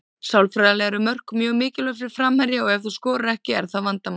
Sálfræðilega eru mörk mjög mikilvæg fyrir framherja og ef þú skorar ekki er það vandamál.